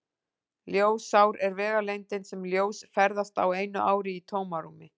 Ljósár er vegalengdin sem ljós ferðast á einu ári í tómarúmi.